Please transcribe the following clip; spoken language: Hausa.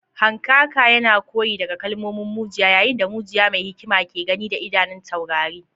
Hankaka yana koya daga kalmomin mujiya, yayin da mujiya mai hikima ke gani da idanun taurari.